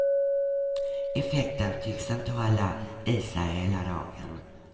Effekten tycks inte hålla i sig hela dagen.